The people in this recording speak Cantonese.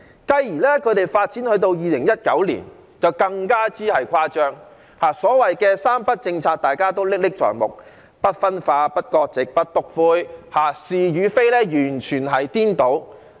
繼而發展至2019年，他們就更加誇張，所謂的"三不"政策，"不分化、不割席、不篤灰"，大家仍歷歷在目，完全顛倒是非。